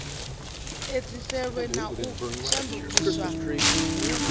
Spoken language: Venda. edziselwe na u shandukiswa hu